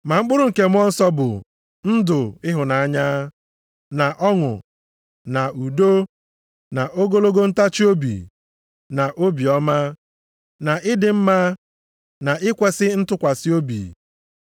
Ma mkpụrụ nke Mmụọ Nsọ bụ, ndụ ịhụnanya, na ọṅụ, na udo, na ogologo ntachiobi, na obiọma, na ịdị mma, na ikwesi ntụkwasị obi,